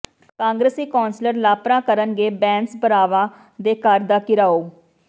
ਕਾਂਗਰਸੀ ਕੌਂਸਲਰ ਲਾਪਰਾਂ ਕਰਨਗੇ ਬੈਂਸ ਭਰਾਵਾਂ ਦੇ ਘਰ ਦਾ ਘਿਰਾਓ